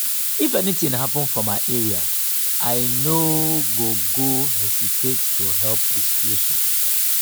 if anything happen for my area i no go go hesitate to help di situation.